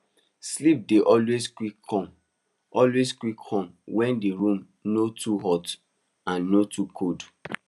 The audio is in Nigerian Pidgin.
sleep dey always quick come always quick come when the room no too hot and no too cold